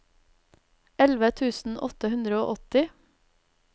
elleve tusen åtte hundre og åtti